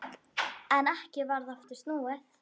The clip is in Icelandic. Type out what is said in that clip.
En ekki varð aftur snúið.